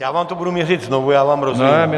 Já vám to budu měřit znovu, já vám rozumím.